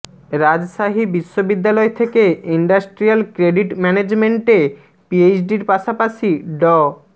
রাজশাহী বিশ্ববিদ্যালয় থেকে industrial credit ম্যানেজমেন্টে পিএইচডির পাশাপাশি ড